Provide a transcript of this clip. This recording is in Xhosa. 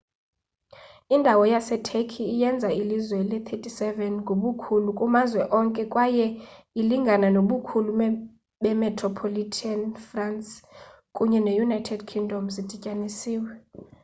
indawo yaseturkey iyenza ilizwe le-37 ngobukhulu kumazwe onke kwaye ilingana nobukhulu bemetropolitan france kunye ne-united kingdom zidityanisiwe